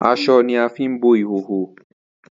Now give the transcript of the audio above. Aso ni a fi bo ihoho.